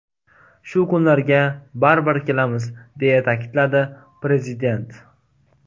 Shu kunlarga baribir kelamiz”, deya ta’kidladi Prezident.